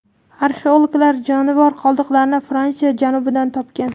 Arxeologlar jonivor qoldiqlarini Fransiya janubidan topgan.